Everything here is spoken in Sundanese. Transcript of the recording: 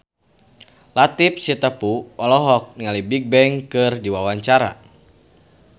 Latief Sitepu olohok ningali Bigbang keur diwawancara